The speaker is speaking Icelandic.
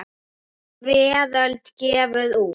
Veröld gefur út.